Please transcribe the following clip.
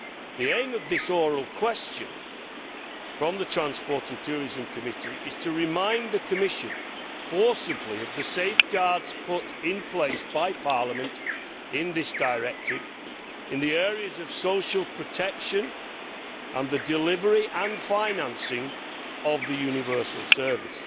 The aim of this oral question from the Committee on Transport and Tourism is to remind the Commission forcibly of the safeguards put in place by Parliament in this directive in the areas of social protection and the delivery and financing of a universal service,